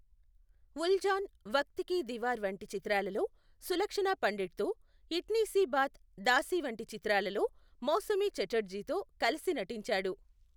ఉల్జాన్, వఖ్త్ కీ దీవార్ వంటి చిత్రాలలో సులక్షణా పండిట్తో, ఇట్నీ సీ బాత్, దాసీ వంటి చిత్రాలలో మౌసమీ ఛటర్జీతో కలిసి నటించాడు.